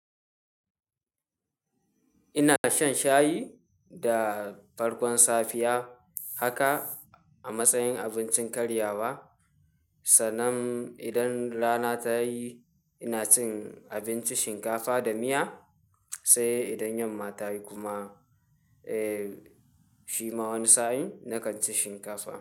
Ina shan shayi da farkon safiya haka a matsayin abincin karyawa. Sanan idan rana ta yi ina cin abinci shinkafa da miya, sai idan yamma ta yi kuma, eh, shi ma wani sa'in na kan ci shinkafa.